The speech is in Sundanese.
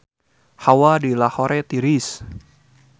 Hawa di Lahore tiris